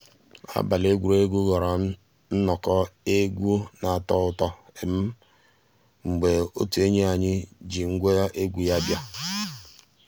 àbàlí égwurégwu ghọ́ọ́rà nnọ́kọ́ égwu ná-àtọ́ ụtọ́ mgbé ótú ényíàny ji ngwa égwu yá bia.